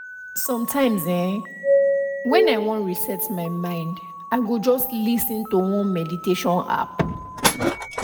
sometimes[um]when i wan reset my mind i go just lis ten to one meditation app